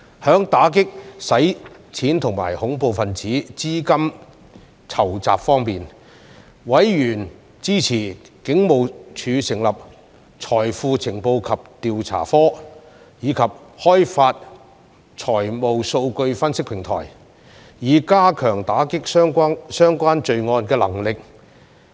在打擊洗錢及恐怖分子資金籌集方面，委員支持警務處成立財富情報及調查科並開發財務數據分析平台，以加強打擊相關罪案的能力。